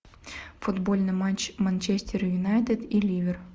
футбольный матч манчестер юнайтед и ливер